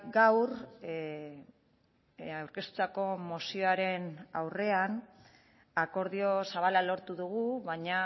gaur aurkeztutako mozioaren aurrean akordio zabala lortu dugu baina